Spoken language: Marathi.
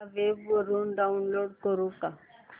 या वेब वरुन डाऊनलोड करू का